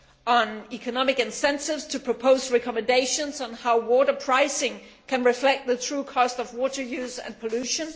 on economic incentives to propose recommendations on how water pricing can reflect the true cost of water use and pollution